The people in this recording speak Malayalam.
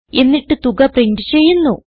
എന്നിട്ട് തുക പ്രിന്റ് ചെയ്യുന്നു